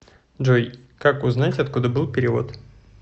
джой как узнать откуда был перевод